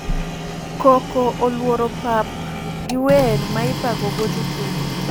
Koko oluoro pap gi wer ma ipako go jotugo…